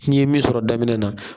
Fo ni ye min sɔrɔ daminɛ na.